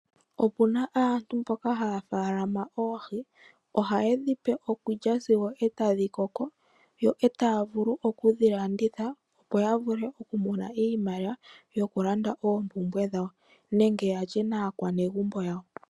Opuna aantu mboka haya faalama oohi, ohayedhi pe okulya sigo otadhi koko, yo taya kalanditha opo ya vule kumona mo iimaliwa yokulanda oompumbwe dhawo nenge yalye naanegumbo yawo.